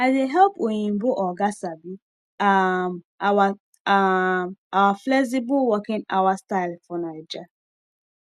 i dey help oyinbo oga sabi um our um our flexible working hour style for naija